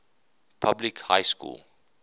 public high school